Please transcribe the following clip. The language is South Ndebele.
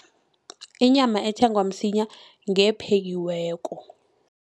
Inyama ethengwa msinya ngephekiweko.